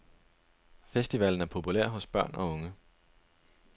Festivalen er populær hos børn og unge.